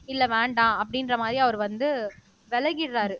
இல்ல வேண்டாம் அப்படின்ற மாதிரி அவரு வந்து விலகிடுறாரு